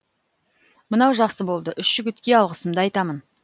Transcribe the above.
мынау жақсы болды үш жігітке алғысымды айтамын